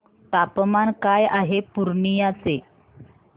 तापमान काय आहे पूर्णिया चे